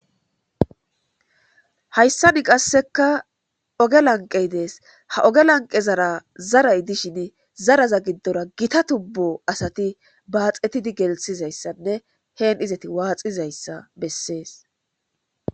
hayssani qasseka oge lanqey dees ha oge lanqe zara zaray dishin zaraza giddora gita tubbo asati baaxetidi gelsizayssanne heen izati waaxizayssa bessees